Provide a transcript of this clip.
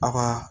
Aw ka